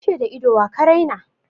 An ce da ido wa ka raina?